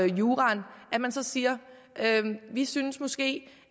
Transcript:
juraen og siger vi synes måske